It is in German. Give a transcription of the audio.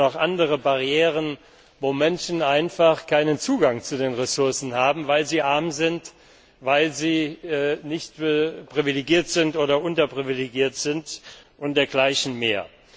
Es gibt auch noch andere Barrieren, wo Menschen einfach keinen Zugang zu den Ressourcen haben, weil sie arm sind, weil sie nicht privilegiert oder unterprivilegiert sind und dergleichen